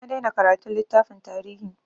Na daina karatun littafan tarihi.